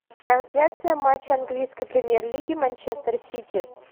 трансляция матча английской премьер лиги манчестер сити